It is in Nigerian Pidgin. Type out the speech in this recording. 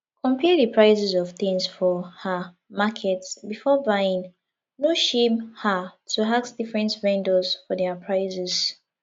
compare di prices of things for um market before buying no shame um to ask different vendors for their prices